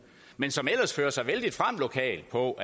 men som ellers fører sig vældig frem lokalt på